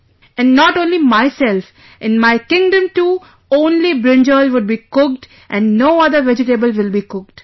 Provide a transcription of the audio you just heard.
"And not only myself, in my kingdom too, only brinjal will be cooked and no other vegetable will be cooked